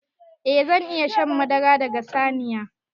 Eh zan iya shan madara daga saniya.